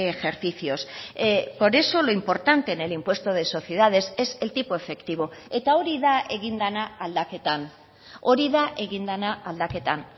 ejercicios por eso lo importante en el impuesto de sociedades es el tipo efectivo eta hori da egin dena aldaketan hori da egin dena aldaketan